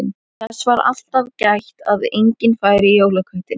Þess var alltaf gætt að enginn færi í jólaköttinn.